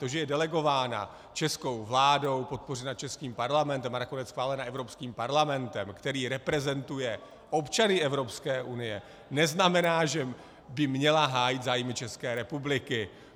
To, že je delegována českou vládou, podpořena českým Parlamentem a nakonec schválena Evropským parlamentem, který reprezentuje občany Evropské unie, neznamená, že by měla hájit zájmy České republiky.